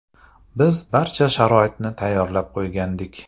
Biz barcha sharoitni tayyorlab qo‘ygandik.